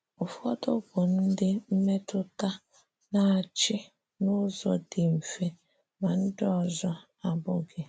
Ụfọdụ bụ ndị mmetụta na - achị n’ụzọ dị mfe, ma ndị ọzọ abụghị.